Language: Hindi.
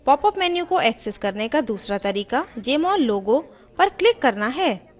popup menu को access करने का दूसरा तरीका jmol logo पर click करना है